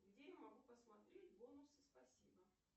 где я могу посмотреть бонусы спасибо